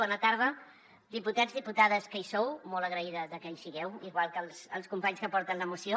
bona tarda diputats diputades que hi sou molt agraïda de que hi sigueu igual que els companys que porten la moció